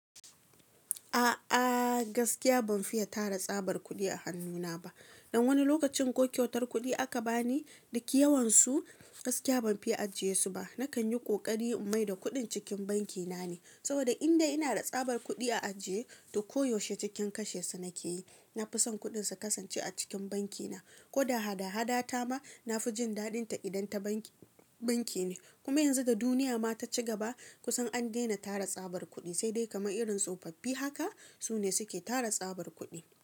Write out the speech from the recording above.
A'a gaskiya ban fiya tara tsabar kuɗi a hannuna ba, dan wani lokacin ko kyautar kuɗi aka bani duk yawan su gaskiya banfi ajiyesu ba. Nakan yi ƙoƙari in maida kuɗin cikin banki na ne, saboda inda ina da tsabar kuɗi a ajiye duk koyaushe cikin kashe su nake yi. Nafison kuɗin su kasance a cikin banki na. Ko da hada-hada ta ma nafi jin daɗinta idan ta banki ne. Kuma yanzu ga duniya ma ta ci gaba kusan an dena tara tsabar kuɗi, sai dai kamar irin tsofaffi haka su ne suke tara tsabar kuɗi.